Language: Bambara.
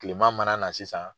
Kilema mana na sisan.